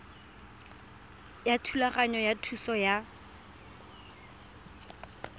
ya thulaganyo ya thuso ya